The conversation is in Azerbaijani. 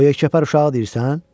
O yekəpər uşağı deyirsən?